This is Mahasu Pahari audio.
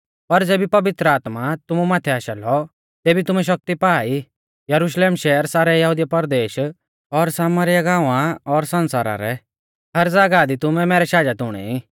पर ज़ेबी पवित्र आत्मा तुमु माथै आशा लौ तेभी तुमै शक्ति पा आ ई यरुशलेम शहर सारै यहुदिया परदेश और सामरीया गांवा और सण्सारा रै हर ज़ागाहा दी तुमै मैरै शाजत हुणै ई